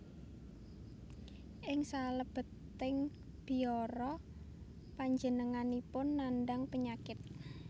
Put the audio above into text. Ing salebeting biara panjenenganipun nandhang penyakit